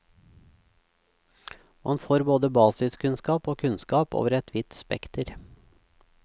Man får både basiskunnskap og kunnskap over et vidt spekter.